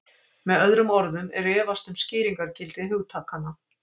Með öðrum orðum er efast um skýringargildi hugtakanna.